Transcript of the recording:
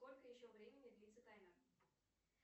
сколько еще времени длится таймер